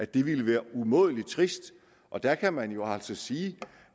det ville være umådelig trist og der kan man jo altså sige